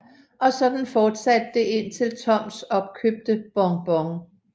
Og sådan fortsatte det indtil Toms opkøbte Bon Bon